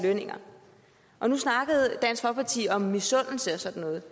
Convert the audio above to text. lønninger og nu snakkede dansk folkeparti om misundelse og sådan noget